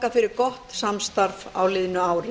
fyrir gott samstarf á liðnu ári